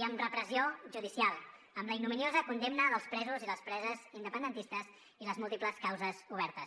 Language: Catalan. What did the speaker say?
i amb repressió judicial amb la ignominiosa condemna dels presos i les preses independentistes i les múltiples causes obertes